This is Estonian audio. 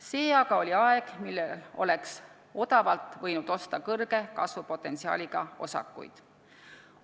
See aga oli aeg, millal oleks võinud odavalt osta suure kasvupotentsiaaliga osakuid.